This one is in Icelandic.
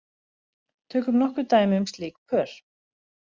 Tökum nokkur dæmi um slík pör.